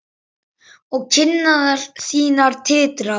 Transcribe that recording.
Og kinnar þínar titra.